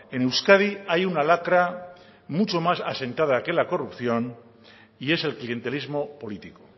en euskadi hay una lacra mucho más asentada que la corrupción y es el clientelismo político